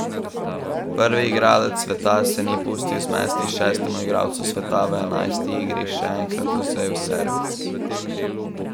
Prvi igralec sveta se ni pustil zmesti in šestemu igralcu sveta v enajsti igri še enkrat odvzel servis.